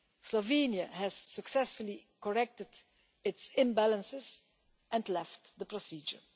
Slovenia has successfully corrected its imbalances and left the procedure.